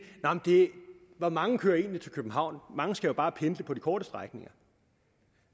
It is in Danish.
hvor mange kører egentlig til københavn mange skal jo bare pendle på de korte strækninger